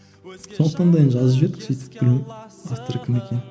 сондықтан да енді жазып жібердік сөйтіп білмеймін авторы кім екенін